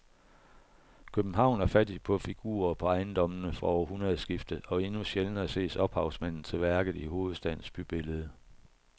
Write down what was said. København er fattig på figurer på ejendommene fra århundredskiftet og endnu sjældnere ses ophavsmanden til værket i hovedstadens bybillede.